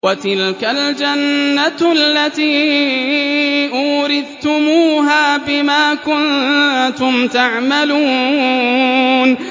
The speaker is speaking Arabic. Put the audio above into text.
وَتِلْكَ الْجَنَّةُ الَّتِي أُورِثْتُمُوهَا بِمَا كُنتُمْ تَعْمَلُونَ